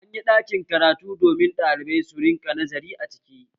Anyi ɗakin karatu domin ɗalibai su rinƙa nazari a ciki